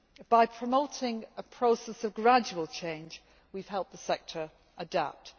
By promoting a process of gradual change, we have helped the sector adapt.